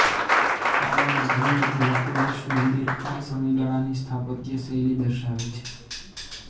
પાવાગઢનું લકુલિશ મંદિર આ સમયગાળાની સ્થાપત્યશૈલી દર્શાવે છે